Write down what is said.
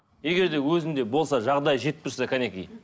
егер де өзінде болса жағдайы жетіп тұрса кәнекей